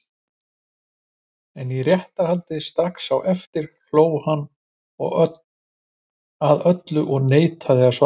En í réttarhaldi strax á eftir hló hann að öllu og neitaði að svara.